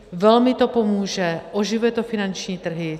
Velmi to pomůže, oživuje to finanční trhy.